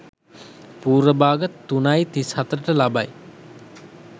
පූර්ව භාග 03.37 ට ලබයි.